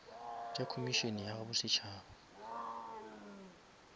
tša komišene ya bo setšhaba